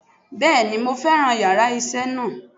Bẹ́ẹ̀ni mo fẹ́ràn yàrá isé náà